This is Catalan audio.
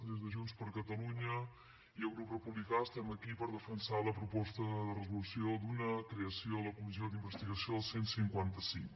des de junts per catalunya i el grup republicà estem aquí per defensar la proposta de resolució de creació d’una comissió d’investigació del cent i cinquanta cinc